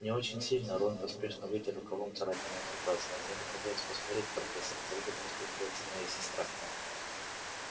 не очень сильно рон поспешно вытер рукавом царапину над глазом мне бы хотелось посмотреть профессор как будет распределяться моя сестра